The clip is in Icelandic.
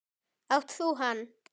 Átt þú hann?